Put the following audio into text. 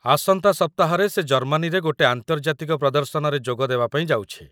ଆସନ୍ତା ସପ୍ତାହରେ ସେ ଜର୍ମାନୀରେ ଗୋଟେ ଆନ୍ତର୍ଜାତିକ ପ୍ରଦର୍ଶନରେ ଯୋଗ ଦେବାପାଇଁ ଯାଉଛି।